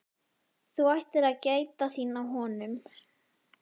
Þú ættir að gæta þín á honum